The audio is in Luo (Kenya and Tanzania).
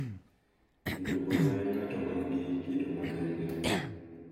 Bende, wuonwa en ng’at ma nigi kido makende .